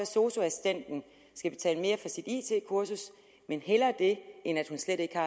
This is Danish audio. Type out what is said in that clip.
sosu assistenten skal betale mere for sit it kursus men hellere det end at hun slet ikke